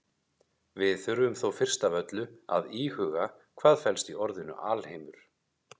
Við þurfum þó fyrst af öllu að íhuga hvað felst í orðinu alheimur.